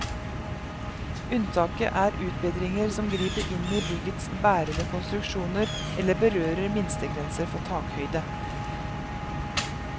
Unntaket er utbedringer som griper inn i byggets bærende konstruksjoner eller berører minstegrenser for takhøyde.